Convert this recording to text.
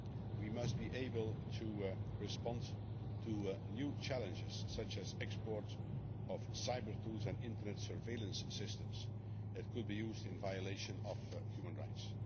We must be able to respond to new challenges, such as the export of cyber tools and Internet surveillance systems that could be used in violation of human rights.